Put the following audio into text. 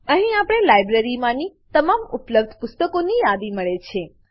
અહીં આપણને લાઇબ્રેરીમાંની તમામ ઉપલબ્ધ પુસ્તકોની યાદી મળે છે